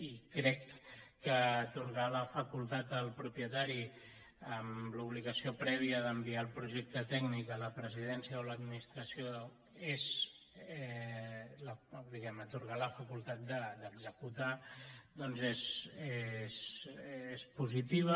i crec que atorgar la facultat al propietari amb l’obligació prèvia d’enviar el projecte tècnic a la presidència o a l’administració atorgar la facultat d’executar és positiu